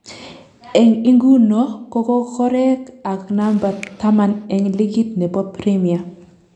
Eng inguno ko kokorek akoi number taman eng ligit nebo premia